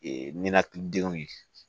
Ee ninakilidenw ye